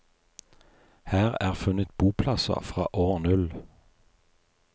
Her er funnet boplasser fra år null.